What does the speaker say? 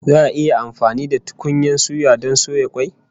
Za'a yi amfani da tukunyan suya don soya kwai